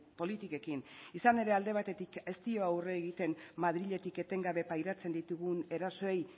politikekin izan ere alde batetik ez dio aurre egiten madriletik etengabe pairatzen ditugun erasoei